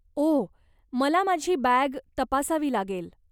ओह, मला माझी बॅग तपासावी लागेल.